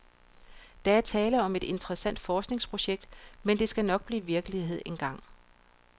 Der er tale om et interessant forskningsprojekt, men det skal nok blive virkelighed engang.